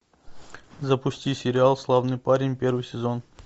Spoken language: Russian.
запусти сериал славный парень первый сезон